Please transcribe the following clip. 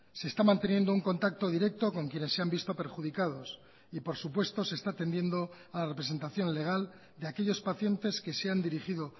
se está manteniendo un contacto directo con quienes se han visto perjudicados y por supuesto se está atendiendo a la representación legal de aquellos pacientes que se han dirigido